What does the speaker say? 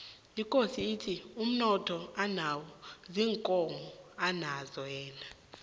ikosi ithi umnotho anawo ziinkomo anazo yena